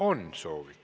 On soovi.